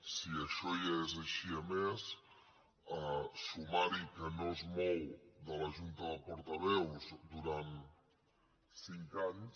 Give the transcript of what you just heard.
si això ja és així a més sumar hi que no es mou de la junta de portaveus durant cinc anys